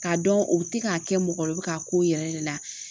K'a dɔn o bɛ ti k'a kɛ mɔgɔ la u bɛ k'a k'o yɛrɛ de la.